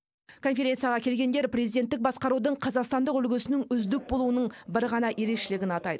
конференцияға келгендер президенттік басқарудың қазақстандық үлгісінің үздік болуының бір ғана ерекшелігін атайды